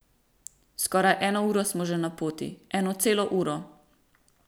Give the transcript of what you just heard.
Skoraj eno uro smo že na poti, eno celo uro.